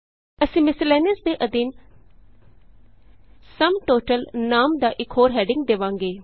ਅਸੀਂ ਮਿਸਲੇਨੀਅਸ ਦੇ ਅਧੀਨ ਸੁਮ TOTALਨਾਮ ਦਾ ਇਕ ਹੋਰ ਹੈਡਿੰਗ ਦੇਵਾਂਗੇ